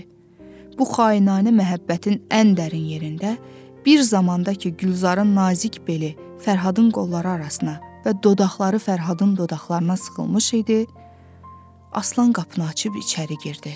Bu xainanə məhəbbətin ən dərin yerində, bir zamanda ki, Gülzarın nazik beli Fərhadın qolları arasına və dodaqları Fərhadın dodaqlarına sıxılmış idi, Aslan qapını açıb içəri girdi.